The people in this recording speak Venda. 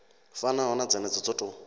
fanaho na dzenedzo dzo tou